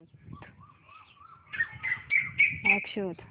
app शोध